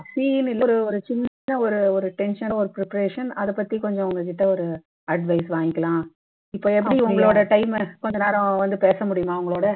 ஒரு சின்ன ஒரு ஒரு tension ஒரு preparation அதைப் பத்தி கொஞ்சம் உங்ககிட்ட ஒரு advice வாங்கிக்கலாம் இப்ப எப்படி உங்களோட time அ கொஞ்ச நேரம் வந்து பேச முடியுமா உங்களோட